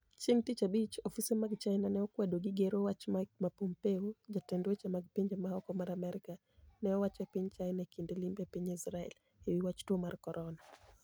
Chienig ' Tich Abich, ofise mag Chinia ni e okwedo gi gero wach ma Mike Pompeo, jatend weche mag pinije ma oko mar Amerka, ni e owacho ni e piniy Chinia e kinide limbe e piniy Israel, e wi wach tuo mar coronia.